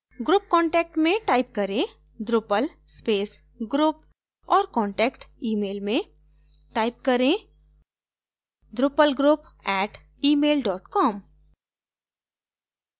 group contact में type करें: drupal space group और contact email में type करें: drupalgroup @email com